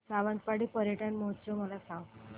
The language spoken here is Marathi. सावंतवाडी पर्यटन महोत्सव मला सांग